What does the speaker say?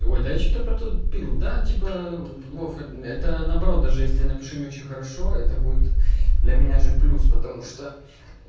ой да я что-то протупил да типа вов это наоборот даже если я напишу не очень хорошо это будет для меня же плюс потому что